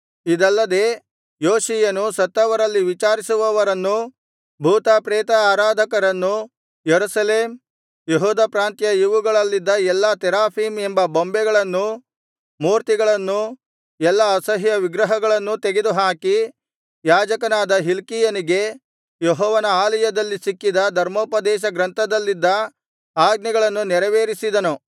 ಇದಲ್ಲದೆ ಯೋಷೀಯನು ಸತ್ತವರಲ್ಲಿ ವಿಚಾರಿಸುವವರನ್ನೂ ಭೂತ ಪ್ರೇತ ಆರಾಧಕರನ್ನೂ ಯೆರೂಸಲೇಮ್ ಯೆಹೂದ ಪ್ರಾಂತ್ಯ ಇವುಗಳಲ್ಲಿದ್ದ ಎಲ್ಲಾ ತೆರಾಫೀಮ್ ಎಂಬ ಬೊಂಬೆಗಳನ್ನೂ ಮೂರ್ತಿಗಳನ್ನೂ ಎಲ್ಲಾ ಅಸಹ್ಯ ವಿಗ್ರಹಗಳನ್ನೂ ತೆಗೆದುಹಾಕಿ ಯಾಜಕನಾದ ಹಿಲ್ಕೀಯನಿಗೆ ಯೆಹೋವನ ಆಲಯದಲ್ಲಿ ಸಿಕ್ಕಿದ್ದ ಧರ್ಮೋಪದೇಶಗ್ರಂಥದಲ್ಲಿದ್ದ ಆಜ್ಞೆಗಳನ್ನು ನೆರವೇರಿಸಿದನು